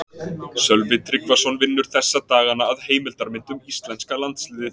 Sölvi Tryggvason vinnur þessa dagana að heimildarmynd um íslenska landsliðið.